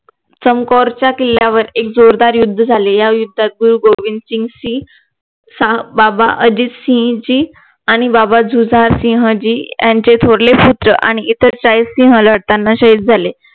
कंकोरच्या किल्ल्यावर एक जोरदार युद्ध झाले या युद्धात गुरु गोबिंदसिंघजी बाबा अर्जित सिंघजी आणि बाबा जुजारसिह जी यांचे थोरले पुत्र आणि इतर त्यांना शाहिद झाले